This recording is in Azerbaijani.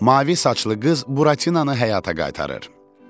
Mavi saçlı qız Buratinanı həyata qaytarır.